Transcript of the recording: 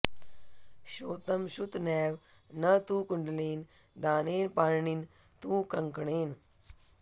श्रोतं श्रुतनैव न तु कुण्डलेन दानेन पार्णिन तु कंकणेन